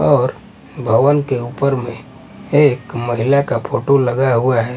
और भवन के ऊपर में एक महिला का फोटो लगा हुआ है ।